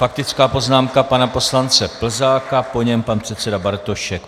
Faktická poznámka pana poslance Plzáka, po něm pan předseda Bartošek.